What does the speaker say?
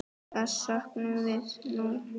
Þess söknum við nú.